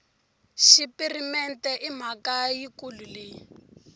xipirimente i mhaka yikulu leyi